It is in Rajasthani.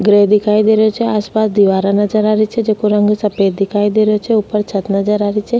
घरे दिखाइ दे रो छे आस पास दीवारा नज़र आ री छे जेको रंग सफ़ेद दिखाई दे रो छे ऊपर छत नजर आ री छे।